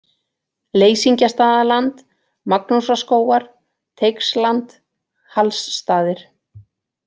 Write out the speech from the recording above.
Leysingjastaðaland, Magnúsarskógar, Teigsland, Hallsstaðir